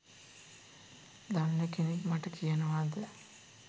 දන්න කෙනෙක් මට කියනවද